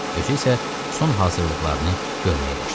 Özü isə son hazırlıqlarını görməyə başladı.